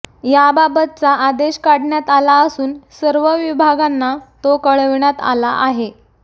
याबाबतचा आदेश काढण्यात आला असून सर्व विभागांना तो कळविण्यात आला आहे